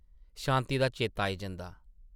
शांति दा चेता आई जंदा ।